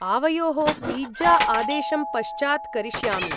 आवयोः पिज्जा आदेशं पश्चात् करिष्यामि।